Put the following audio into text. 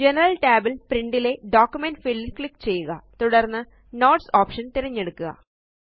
general tab ല് print ലെ document field ല് ക്ലിക്ക് ചെയ്യുക തുടര്ന്ന് നോട്ട്സ് ഓപ്ഷൻ തിരഞ്ഞെടുക്കുക